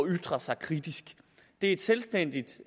ytre sig kritisk det er et selvstændigt